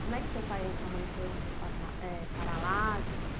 Como é que seu pai e sua mãe foram passa eh parar lá?